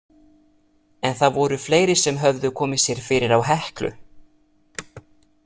En það voru fleiri sem höfðu komið sér fyrir á Heklu.